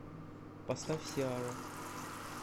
поставь сиара